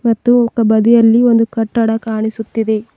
ಮತ್ತು ಕ ಬದಿಯಲ್ಲಿ ಒಂದು ಕಟ್ಟಡ ಕಾಣಿಸುತ್ತಿದೆ.